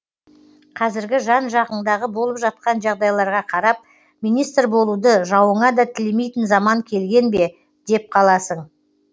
қазіргі жан жағыңдағы болып жатқан жағдайларға қарап министр болуды жауыңа да тілемейтін заман келген бе деп қаласың